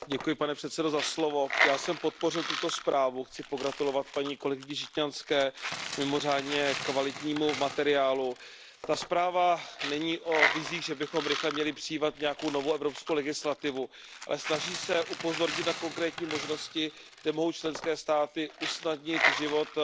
Pane předsedající, já jsem podpořil tuto zprávu, chci pogratulovat kolegyni Žitňanské k mimořádně kvalitnímu materiálu. Ta zpráva není o vizích, že bychom měli rychle přijímat nějakou novou evropskou legislativu, ale snaží se upozornit na konkrétní možnosti, kde mohou členské státy usnadnit život